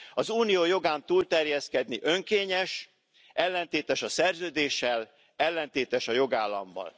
Az unió jogán túlterjeszkedni önkényes, ellentétes a Szerződéssel, ellentétes a jogállammal.